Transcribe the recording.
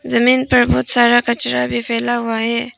जमीन पर बहोत सारा कचरा भी फैला हुआ है।